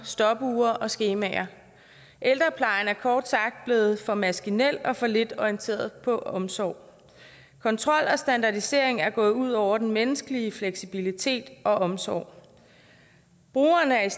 stopure og skemaer ældreplejen er kort sagt blevet for maskinel og for lidt orienteret på omsorg kontrol og standardisering er gået ud over den menneskelige fleksibilitet og omsorg brugerne er